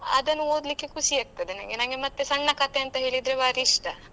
ಅದನ್ನು ಓದ್ಲಿಕ್ಕೆ ಖುಷಿ ಆಗ್ತದೆ ನಂಗೆ ನಂಗೆ ಮತ್ತೆ ಸಣ್ಣ ಕತೆ ಅಂತ ಹೇಳಿದ್ರೆ ಭಾರಿ ಇಷ್ಟ.